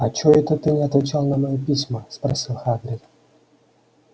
а чой-то ты не отвечал на мои письма спросил хагрид